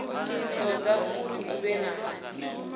toda uri hu vhe na